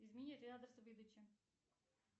измени адрес выдачи